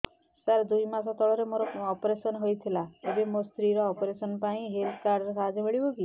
ସାର ଦୁଇ ମାସ ତଳରେ ମୋର ଅପେରସନ ହୈ ଥିଲା ଏବେ ମୋ ସ୍ତ୍ରୀ ର ଅପେରସନ ପାଇଁ ଏହି ହେଲ୍ଥ କାର୍ଡ ର ସାହାଯ୍ୟ ମିଳିବ କି